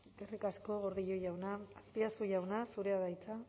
eskerrik asko gordillo jauna azpiazu jauna zurea da hitza